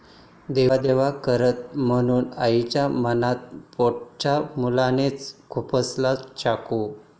देवदेव करते म्हणून आईच्या मानेत पोटच्या मुलानेच खुपसला चाकू